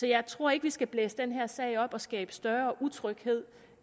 jeg tror ikke vi skal blæse den her sag op og skabe større utryghed